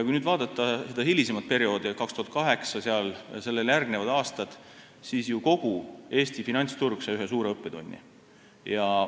Kui nüüd vaadata hilisemat perioodi – 2008 ja sellele järgnevaid aastaid –, siis sai kogu Eesti finantsturg tookord suure õppetunni.